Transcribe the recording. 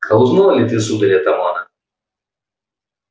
а узнал ли ты сударь атамана